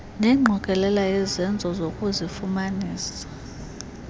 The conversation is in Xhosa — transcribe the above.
nengqokelela yezenzo zokuzifumanisa